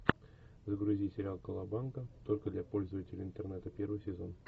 загрузи сериал колобанга только для пользователей интернета первый сезон